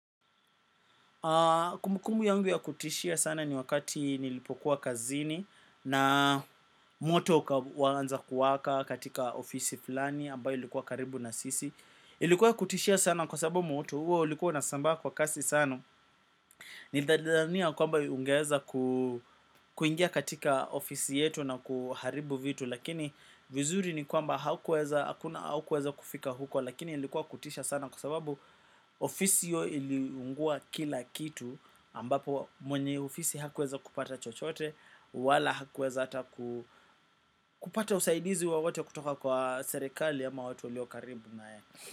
Kumbukumbu yangu ya kutishia sana ni wakati nilipokuwa kazini na moto ukaanza kuwaka katika ofisi fulani ambayo ilikuwa karibu na sisi ilikuwa ya kutishia sana kwa sababu moto huo ulikuwa unasambaa kwa kasi sana nilijidhania kwamba ungeweza kuingia katika ofisi yetu na kuharibu vitu lakini vizuri ni kwamba haukuweza kufika huko lakini ilikuwa kutisha sana kwa sababu ofisi hiyo iliungua kila kitu ambapo mwenye ofisi hakuweza kupata chochote wala hakuweza hata kupata usaidizi wowote kutoka kwa serikali ama watu walio karibu na yeye.